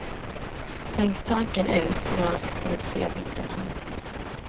Tänk tanken ut när ni ser bilden här intill.